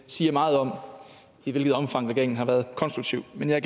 siger meget om i hvilket omfang regeringen har været konstruktiv men jeg